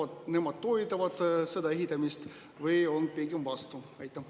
Kas nemad toetavad selle ehitamist või on pigem selle vastu?